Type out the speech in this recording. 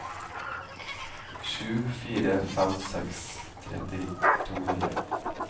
sju fire fem seks tretti to hundre